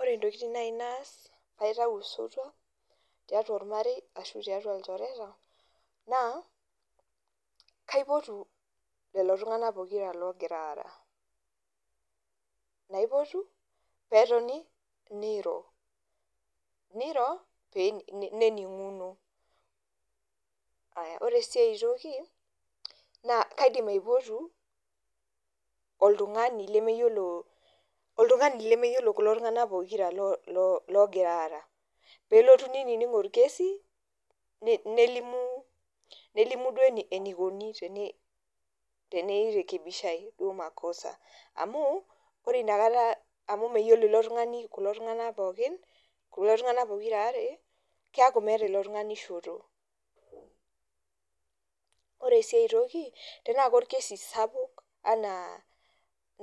Ore ntokiting' naaji naas pee aitau osotua tiatua ormarei ashu tiatu ilchoreta, naa kaipotu lelo tunganak pokira logira aara, naipotu peetoni neiro nening'uno. Ore sii aitoki naa kaidim aipotu oltung'ani lemeyiolo kulo tung'anak pokira loogira aara, pee elotu neinining' orkesi nelimu eneikoni teneirekebishae duo makosa, amu ore inakata meyiolo ilo tung'ani kulo tung'anak pookin, kulo tung'anak pokira aare keeku meeta ilo tung'ani shoto, ore sii aitoki tenaa naaji korkesi sapuk enaa